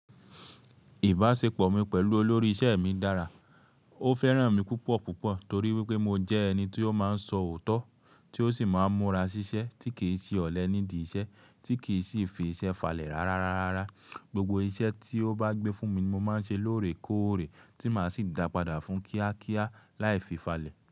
Ìbáṣepọ̀ mi pẹ̀lú olórí iṣẹ́ mi dára. Ó fẹ́ràn mi púpọ̀púpọ̀ torí wípé mo jẹ́ ẹni tí ó máa ń sọ òótọ́, tí ó sì máa ń múra ṣiṣẹ́ tí kì í ṣe ọ̀lẹ nídi iṣẹ́, tí kì í sì fi iṣẹ́ falẹ̀ rárárárárá. Gbogbo iṣẹ́ tí ó bá gbé fún mi mo máa ń ṣe lóòrè kóòrè tí màá sì dàpadà fún kíákíá láì fi falẹ̀